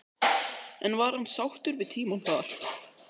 En var hann sáttur við tímann þar?